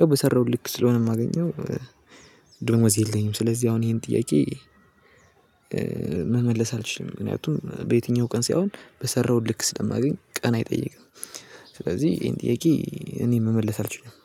ያው በሰራሁት ልክ ስለሆነ የማገኘው ደሞዝ የለኝም ስለዚህ አሁን ይሄን ጥያቄ መመለስ አልችልም ምክንያቱም በየትኛው ቀን ሳይሆን በሰራው ልክ ስለማገኝ ቀን አይጠይቅም ስለዚህ ይሄን ጥያቄ እኔ መመለስ አልችልም።